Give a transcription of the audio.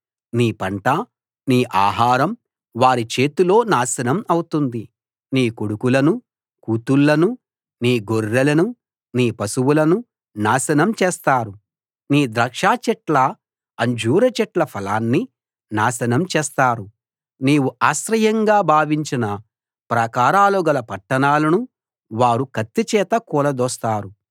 నీ పంట నీ ఆహారం వారి చేతిలో నాశనం అవుతుంది నీ కొడుకులనూ కూతుళ్ళనూ నీ గొర్రెలనూ నీ పశువులనూ నాశనం చేస్తారు నీ ద్రాక్షచెట్ల అంజూరు చెట్ల ఫలాన్ని నాశనం చేస్తారు నీవు ఆశ్రయంగా భావించిన ప్రాకారాలుగల పట్టణాలను వారు కత్తి చేత కూలదోస్తారు